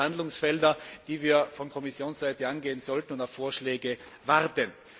Hier sind sicher Handlungsfelder, die wir von Kommissionsseite angehen sollten und bei denen wir auf Vorschläge warten.